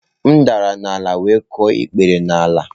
M dara n'ala wee kụọ ikpere n'ala